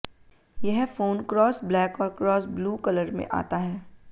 यह phone cross black और cross blue colour में आता है